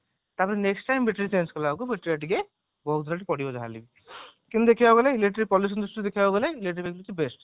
ତାପରେ next time battery change କଳା ବେଳକୁ battery ଟା ଟିକେ ବହୁତ rate ବାଡିବ ଯାହାହେଲେ ବି କିନ୍ତୁ ଦେଖିବାକୁ ଗଲେ electric policy ଦ୍ରୁଷ୍ଟିରୁ ଦେଖିବାକୁ ଗଲେ electric vehicle ହଉଛି best